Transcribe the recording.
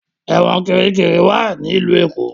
Ẹ̀wọ̀n Kirikiri wá ní ilú Lagos.